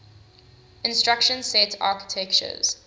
instruction set architectures